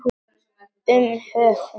Um höfund